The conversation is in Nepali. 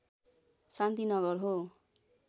शान्तिनगर हो